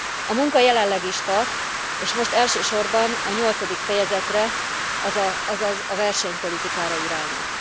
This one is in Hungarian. A munka jelenleg is tart, és most elsősorban a nyolcadik fejezetre, azaz a versenypolitikára irányul.